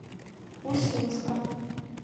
усинска